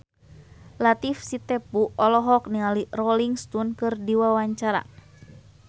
Latief Sitepu olohok ningali Rolling Stone keur diwawancara